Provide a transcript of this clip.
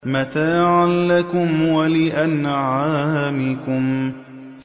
مَّتَاعًا لَّكُمْ وَلِأَنْعَامِكُمْ